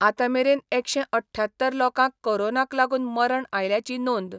आता मेरेन एकशे अठयात्तर लोकांक कोरोनाक लागुन मरण आयल्याची नोंद